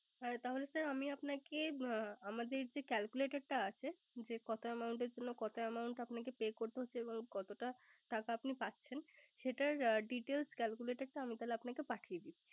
হ্যা তাহলে sir আমি আপনাকে আমাদের যে Calculator টা আছে। যে কত Amount এর জন্য কত Amount আপনাকে Pay করতে হচ্ছে। এবং কতটা টাকা আপনি পাচ্ছেন। সেটার Details Calculator টা আমি তাহলে তোমাকে পাঠিয়ে দিচ্ছে